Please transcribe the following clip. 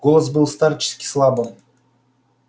голос был старчески слабым